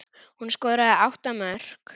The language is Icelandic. Hún skoraði átta mörk.